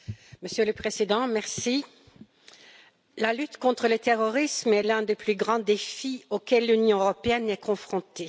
Monsieur le Président, la lutte contre le terrorisme est l'un des plus grands défis auxquels l'Union européenne est confrontée.